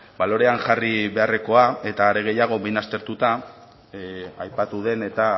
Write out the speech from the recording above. balorean jarri beharrekoa eta are gehiago behin aztertuta aipatu den eta